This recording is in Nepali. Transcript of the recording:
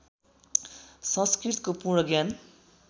संस्कृतको पूर्ण ज्ञान